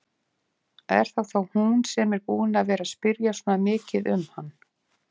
Er það þá hún sem er búin að vera að spyrja svona mikið um hann?